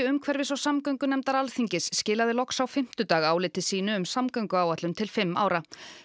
umhverfis og samgöngunefndar Alþingis skilaði loks á fimmtudag áliti sínu um samgönguáætlun til fimm ára